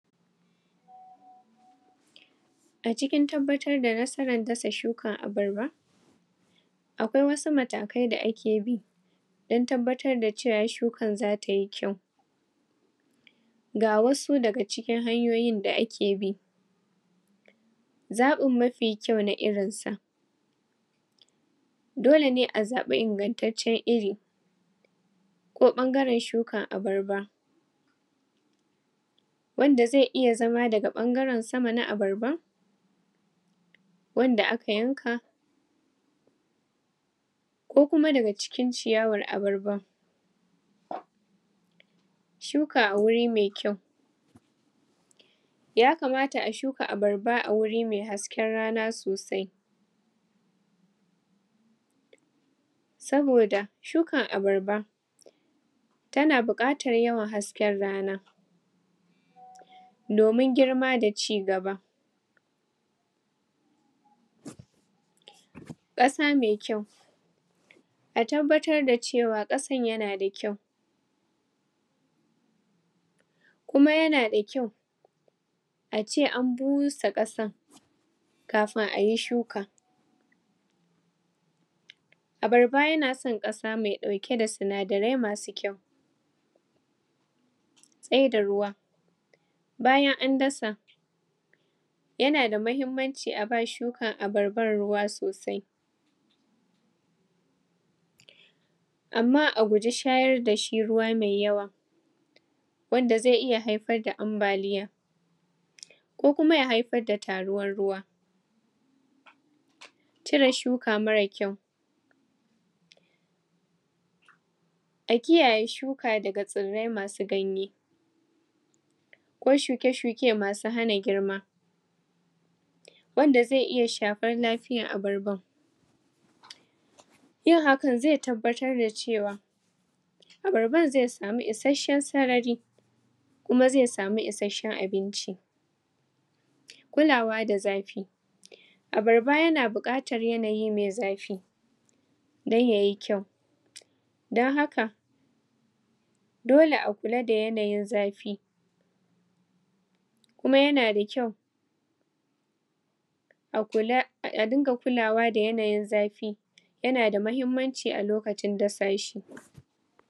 acikin tabbatar da nasaran dasa shukan abarba akwai wasu matakai da ake bi dan tabbatar da cewa shukan zatayi kyau ga wasu daga cikin hanyoyi da ake bi zaɓin mafi kyau na irin sa dolene azaɓi ingantacen iri ko ɓagran shuka abarba wanda ze iya zama daga ɓagaran sama na abarba wanda aka yanka kokuma daga cikin ciyawan abarban shuka a wuri me kyau yakamata a shuka abarba a guri me haski rana sosai saboda shukan abarba tana buƙatar yawan hasken rana domin germa da cigaba ƙasa me kyau a tabbatar da cewa ƙasan yanada kyau kuma yanada kyau ace an busa ƙasan kafin ayi shuka abarba yana san ƙasa me dauke da sinadarai masu kyau tsida ruwa bayan an dasa yanada mahimmanci aba shukkan abarban ruwa sosai amma a guji shayar dashi ruwa me yawa wanda ze iya haifar da ambaliya kokuma ya haifar da taruwan ruwa cire shuka mara kyau a kiyaye shuka daga tsirai masu ganye ko shuke-shuke masu hana girma wanda ze iya shafar lafiyan abarban yin haka ze tabbatar da cewa abarban ze samu ishashan sarari kuma ze samu ishashan abinci kulawa da zafi abarba yana buƙatar yanayi me zafi dan yaye kyau dan haka dole a kula da yanayin zafi kuma yanada kyau akula adinga kulawa da yanayin zafi yanada mahimmanci alokacin dasa shi